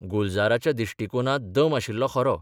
गुलजाराच्या दिश्टिकोणांत दम आशिल्लो खरो.